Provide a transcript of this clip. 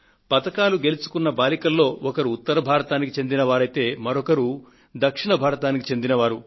పతకాలు గెలుచుకున్న బాలికలలో ఒకరు ఉత్తర భారతదేశానికి చెందిన వారైతే మరొకరు దక్షిణ భారతదేశానికి చెందిన వారు